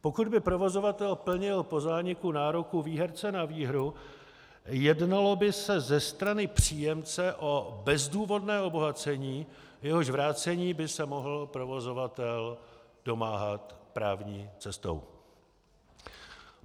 Pokud by provozovatel plnil po zániku nároku výherce na výhru, jednalo by se ze strany příjemce o bezdůvodné obohacení, jehož vrácení by se mohl provozovatel domáhat právní cestou.